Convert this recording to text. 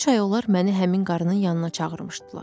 Üç ay olar məni həmin qarının yanına çağırmışdılar.